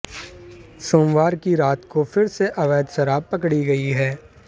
सोमवार की रात को फिर से अवैध शराब पकड़ी गई है